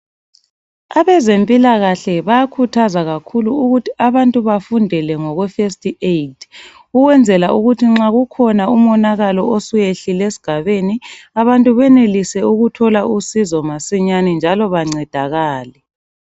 Abezempilakahle bayakhuthaza kakhulu ukuthi abantu bafundele ngokwe first aid ukwenzela ukuthi nxa kukhona umonakalo osuyehlile esigabeni abantu benelise ukuthola usizo masinyane njalo bancedakale.